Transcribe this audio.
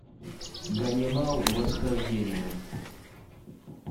ганнибал восхождение